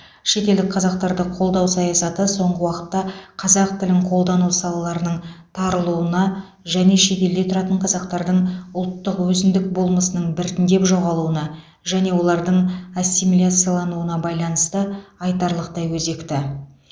шетелдік қазақтарды қолдау саясаты соңғы уақытта қазақ тілін қолдану салаларының тарылуына және шетелде тұратын қазақтардың ұлттық өзіндік болмысының біртіндеп жоғалуына және олардың ассимиляциялануына байланысты айтарлықтай өзекті